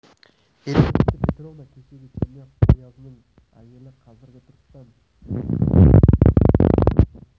елизавета петровна кешегі черняев оязының әйелі қазіргі түркістан президенті рысқұловтың қайын енесі осы кісі болатын